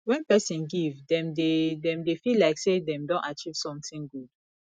when person give dem dey dem dey feel like sey dem don achieve something good